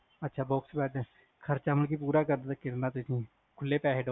ਅੱਛਾ box bed ਖ਼ਰਚਾ ਮਤਲਬ ਕਿ ਪੂਰਾ ਕਰਨਾ ਕਿਰਨਾਂ ਐ ਤੁਸੀ